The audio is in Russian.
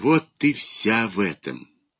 вот ты вся в этом